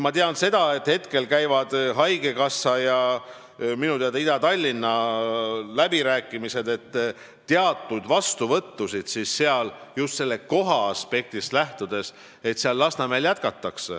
Ma tean, et käivad haigekassa ja Ida-Tallinna läbirääkimised, et teatud vastuvõttusid just sellest kohaaspektist lähtudes Lasnamäel jätkata.